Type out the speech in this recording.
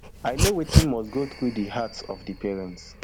i know wetin must go through di hearts of di parents